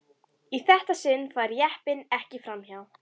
Í þetta sinn færi jeppinn ekki fram hjá.